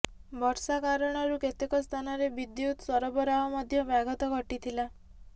ବର୍ଷା କାରଣରୁ କେତେକ ସ୍ଥାନରେ ବିଦ୍ୟୁତ୍ ସରବରାହ ମଧ୍ୟ ବ୍ୟାଘାତ ଘଟିଥିଲା